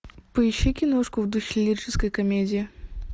поищи киношку в духе лирической комедии